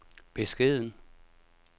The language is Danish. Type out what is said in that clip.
beskeden